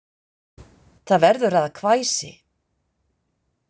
Það verður að hvæsi.